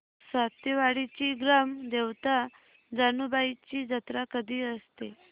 सातेवाडीची ग्राम देवता जानुबाईची जत्रा कधी असते